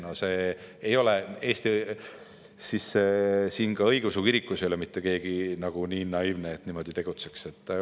No siin Eesti õigeusu kirikus ei ole mitte keegi nii naiivne, et ta niimoodi tegutseks.